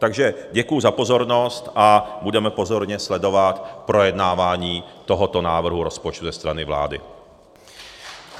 Takže děkuji za pozornost a budeme pozorně sledovat projednávání tohoto návrhu rozpočtu ze strany vlády.